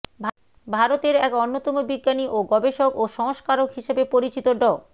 ভারতের এক অন্যতম বিজ্ঞানী ও গবেষক ও সংস্কারক হিসেবে পরিচিত ড